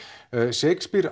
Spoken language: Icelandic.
Shakespeare